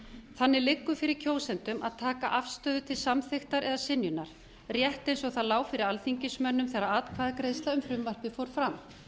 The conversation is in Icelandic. þannig liggur fyrir kjósendum að taka afstöðu til samþykktar eða synjunar rétt eins og það lá fyrir alþingismönnum þegar atkvæðagreiðsla um frumvarpið fór fram